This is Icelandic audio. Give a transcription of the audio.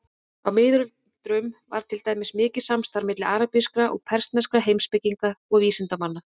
Á miðöldum var til dæmis mikið samstarf milli arabískra og persneskra heimspekinga og vísindamanna.